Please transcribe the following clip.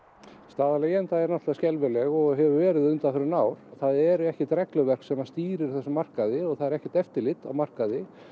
staða leigjenda er skelfileg og hefur verið undanfarin ár það er ekkert regluverk sem að stýrir þessum markaði og það er ekkert eftirlit á markaði